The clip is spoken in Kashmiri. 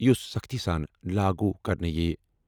یُس سختی سان لاگو کرنْہ یِیہ۔